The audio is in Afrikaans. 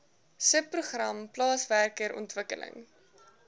subprogram plaaswerker ontwikkeling